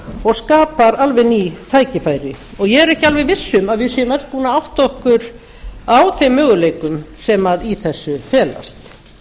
og skapar alveg ný tækifæri ég er ekki alveg viss um að við séum öll búin að átta okkur á þeim möguleikum sem í þessu felast